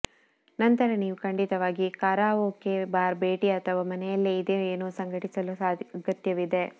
ನಂತರ ನೀವು ಖಂಡಿತವಾಗಿ ಕರಾಒಕೆ ಬಾರ್ ಭೇಟಿ ಅಥವಾ ಮನೆಯಲ್ಲಿ ಇದೇ ಏನೋ ಸಂಘಟಿಸಲು ಅಗತ್ಯವಿದೆ